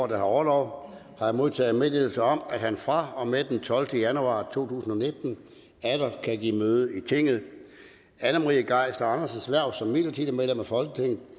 der har orlov har jeg modtaget meddelelse om at han fra og med den tolvte januar to tusind og nitten atter kan give møde i tinget anne marie geisler andersens hverv som midlertidigt medlem af folketinget